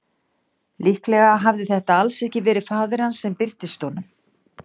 Líklega hafði þetta alls ekki verið faðir hans sem birtist honum.